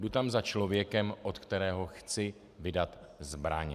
Jdu tam za člověkem, od kterého chci vydat zbraň.